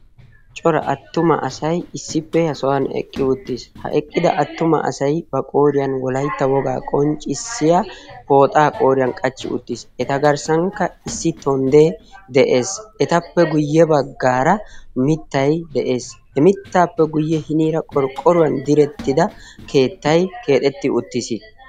Cora attuma asay issippe ha sohan eqqi uttiis ha eqqida attuma asai ba qooriyan wolaitta wogaa qonccissiya pooxaa qooriyan qachchi uttiis eta garssankka issi tonddee de'ees. etappe guyye baggaara mittay de'ees. he mittaappe guyye hiniira qorqqoruwan direttida keettay keexetti uttiis.